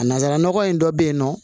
A nanzara nɔgɔ in dɔ bɛ yen nɔ